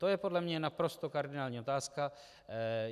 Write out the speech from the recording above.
To je podle mě naprosto kardinální otázka.